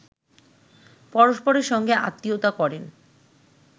পরস্পরের সঙ্গে আত্মীয়তা করেন